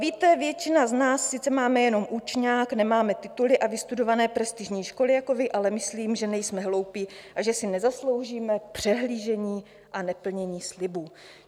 Víte, většina z nás sice máme jenom učňák, nemáme tituly a vystudované prestižní školy jako vy, ale myslím, že nejsme hloupí a že si nezasloužíme přehlížení a neplnění slibů.